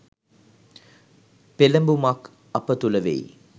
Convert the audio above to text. පෙළඹුමක් අප තුළ වෙයි.